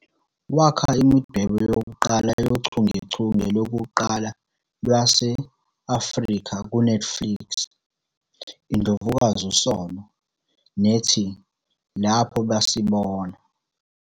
Wakha imidwebo yochungechunge lokuqala lwase-Afrika kuNetflix, "iNdlovukazi uSono", nethi "Lapho Basibona."